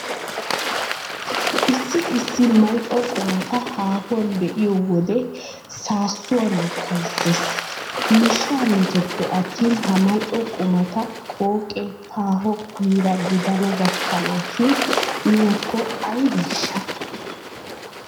Issi issi mal"o qumata haahuwan be'iyo wode saassuwa lokkayissees. Miishshaa metoppe attin ha mal"o qumata qooqee paaho yiiraa gidana gakkanaashin miyakko aybeeshsha!